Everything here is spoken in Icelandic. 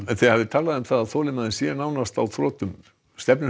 þið hafið talað um að þolinmæðin sé nánast á þrotum stefnir